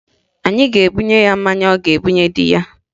A ga-ebunye ya mmanya ọ ga-ebunye di ya